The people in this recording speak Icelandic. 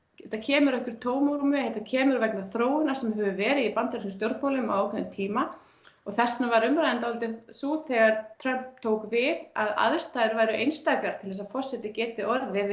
þetta kemur upp úr tómarúmi þetta kemur vegna þróunar sem hefur verið í bandarískum stjórnmálum í ákveðinn tíma og þess vegna var umræðan dálítið sú þegar Trump tók við að aðstæður væru einstakar til að forseti gæti orðið